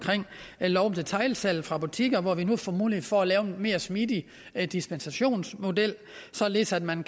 lov om detailsalg fra butikker hvor vi nu får mulighed for at lave en mere smidig dispensationsmodel således at man